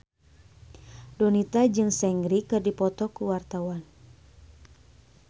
Donita jeung Seungri keur dipoto ku wartawan